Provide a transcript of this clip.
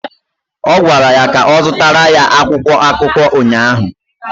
Ọ gwara ya ka ọ zụtara ya akwụkwọ akụkọ ụnyaahụ!